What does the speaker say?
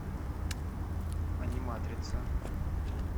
аниматрица